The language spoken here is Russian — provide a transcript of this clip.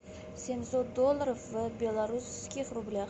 семьсот долларов в белорусских рублях